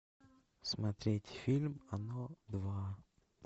смотреть фильм оно два